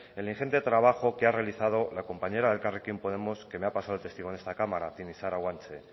el ingente trabajo que ha realizado la compañera de elkarrekin podemos que me ha pasado el testigo en esta cámara tinixara guanche